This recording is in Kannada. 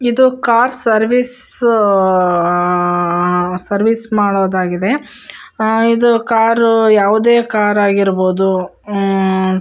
ಇದು ಕಾರ್ ಸರ್ವಿಸ್ ಅಅ ಅಅ ಸರ್ವಿಸ್ ಮಾಡೊದಾಗಿದೆ ನಾವ್ ಇದೆ ಕಾರು ಯಾವದೇ ಕರಗಿರ್ಬೋದು ಮ್--